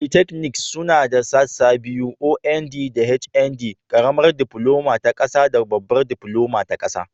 Polytechnics suna da sassa biyu, OND da HND. Karamar Diploma ta Kasa da Babbar Diploma ta Kasa.